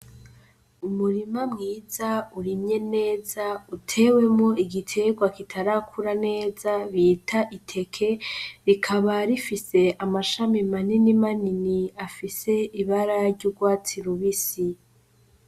Umurima mwiza urimye neza utewemo igiterwa kitarakura neza bita iteke, rikaba rifise amashami manini manini afise ibara ry'urwatsi rubisi.